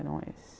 Eram esses.